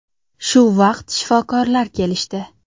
Shu vaqt shifokorlar kelishdi.